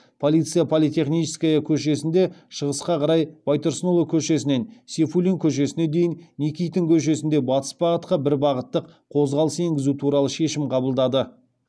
полиция политехническая көшесінде шығысқа қарай байтұрсынұлы көшесінен сейфуллин көшесіне дейін никитин көшесінде батыс бағытқа бір бағыттық қозғалыс енгізу туралы шешім қабылдады